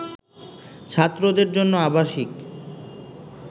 ছাত্রদের জন্য আবাসিক